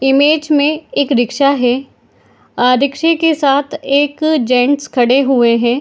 Image मे एक रिक्शा है | आ रिक्शे के साथ एक जेंट्स खड़े हुए हैं ।